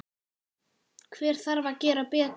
Hver þarf að gera betur?